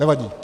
Nevadí.